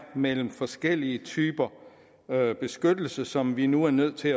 mellem forskellige typer beskyttelse som vi nu er nødt til